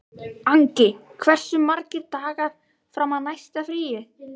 Angi, hversu margir dagar fram að næsta fríi?